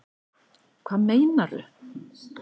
Hvað meinaru